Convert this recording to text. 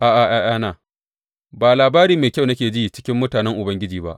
A’a, ’ya’yana ba labari mai kyau nake ji cikin mutanen Ubangiji ba.